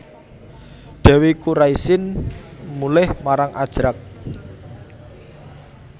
Dèwi Kuraisin mulih marang Ajrak